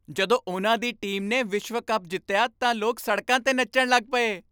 ਜਦੋਂ ਉਨ੍ਹਾਂ ਦੀ ਟੀਮ ਨੇ ਵਿਸ਼ਵ ਕੱਪ ਜਿੱਤਿਆ ਤਾਂ ਲੋਕ ਸੜਕਾਂ 'ਤੇ ਨੱਚਣ ਲੱਗ ਪਏ।